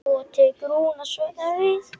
Svo tekur hún af skarið.